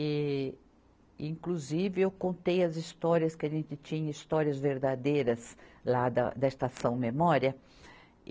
E, inclusive, eu contei as histórias que a gente tinha, histórias verdadeiras, lá da, da Estação Memória. e